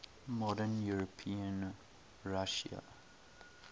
modern european russia